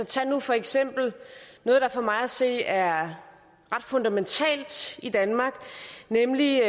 tag nu for eksempel noget der for mig at se er ret fundamentalt i danmark nemlig